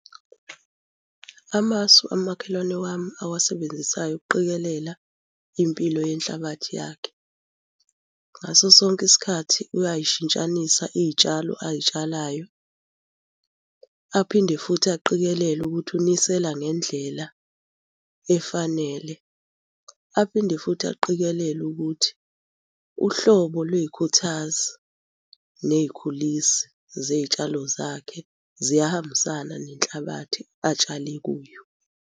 Amasu kamakhelwane wami awasebenzisayo ukuqikelela impilo yenhlabathi yakhe. Ngaso sonke isikhathi uyay'shintshanisa iy'tshalo ay'tshalayo. Aphinde futhi aqikelele ukuthi unisela ngendlela efanele. Aphinde futhi aqikelele ukuthi uhlobo lwey'khuthazi ney'khulisi zey'tshalo zakhe ziyahambisana nenhlabathi atshale kuyo.